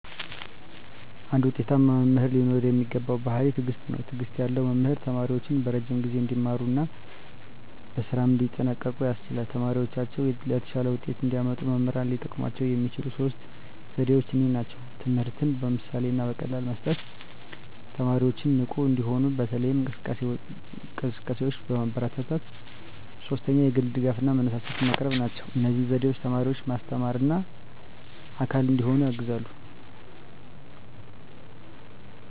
አንድ ውጤታማ መምህር ሊኖረው የሚገባው ባሕርይ ትዕግስት ነው። ትዕግስት ያለው መምህር ተማሪዎቹን በረዥም ጊዜ እንዲማሩ እና በስራም እንዲጠንቀቁ ያስችላል። ተማሪዎቻቸው የተሻለ ውጤት እንዲያመጡ መምህራን ሊጠቀሙባቸው የሚችሉት ሦስት ዘዴዎች እነዚህ ናቸው፦ ትምህርትን በምሳሌ እና በቀላል መስጠት፣ 2) ተማሪዎችን ንቁ እንዲሆኑ በተለያዩ እንቅስቃሴዎች ማበረታታት፣ 3) የግል ድጋፍ እና መነሳሳት ማቅረብ ናቸው። እነዚህ ዘዴዎች ተማሪዎችን ማስተማርና አካል እንዲሆኑ ያግዛሉ።